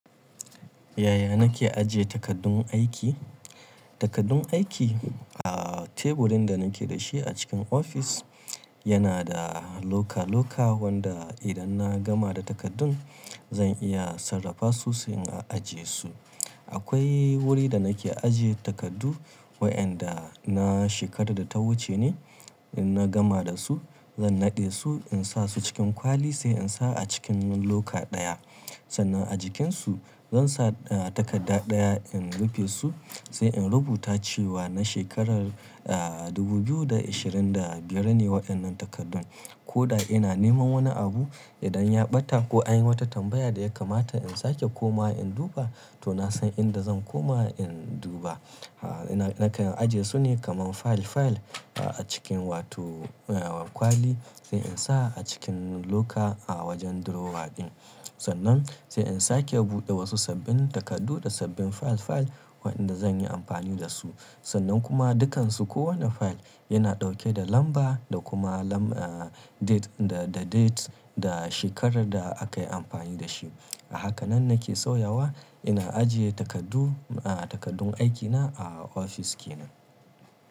Yaya nake ajiye takaddun aiki? Takaddun aiki a teburin da nake da shi a cikin ofis yana da loka-loka wanda idan na gama da takaddun zan iya sarrafa su sai in ajiye su. Akwai wuri da nake ajiye takardu waɗanda na shekarar da ta wuce ne, in na gama da su zan naɗe su in sa su cikin kwali sai in sa a cikin loka ɗaya. Sannan a jikin su zan sa takadda ɗaya in rufe su sai in rubuta cewa na shekarar, aa, dubu biyu da ashirin da biyar ne waɗannan takardun. Ko da ina neman wani abu idan ya ɓata ko an yi wata tambaya da ya kamata in sake komawa in duba to na san inda zan koma in duba. Aaa, nake ajiye su ne kaman fayil-fayil a cikin wato kwali sai in sa a cikin loka a wajen drawer ɗin. Sannan sai in sake buɗe wasu sabbin takardu da sabbin fayil-fayil waɗanda zan yi amfani da su. Sannan kuma dukansu kowane fayil yana ɗauke da lamba da kuma lam, aa, date, da date da shekarar da aka yi amfani da shi. A haka nan nake sauyawa ina ajiye takardu, aa, takaddun aikina a ofis ke nan.